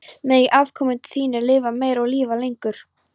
Megi afkomendur þínir lifa meir og lifa lengur.